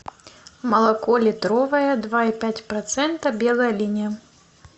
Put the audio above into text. молоко литровое два и пять процента белая линия